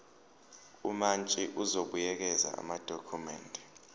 umantshi uzobuyekeza amadokhumende